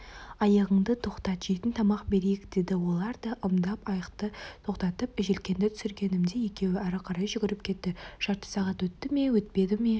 айығыңды тоқтат жейтін тамақ берейік деді олар да ымдап айықты тоқтатып желкенді түсіргенімде екеуі әрі қарай жүгіріп кетті жарты сағат өтті ме өтпеді ме